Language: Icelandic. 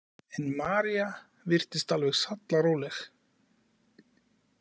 En María virtist alveg sallaróleg.